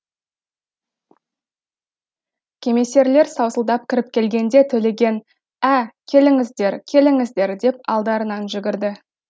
кемесерлер саусылдап кіріп келгенде төлеген ә келіңіздер келіңіздер деп алдарынан жүгірді